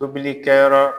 Tobilikɛyɔrɔ